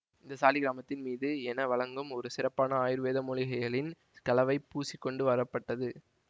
இந்த சாலிக்கிராமத்தின் மீது என வழங்கும் ஒரு சிறப்பான ஆயுர்வேத மூலிகைகளின் கலவை பூசி கொண்டு வரப்பட்டது